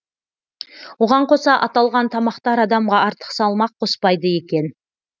оған қоса аталған тамақтар адамға артық салмақ қоспайды екен